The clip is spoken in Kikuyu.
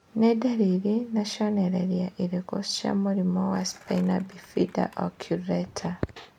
Nĩ ndariri na cionereria irĩkũ cia mũrimũ wa Spina bifida occulta?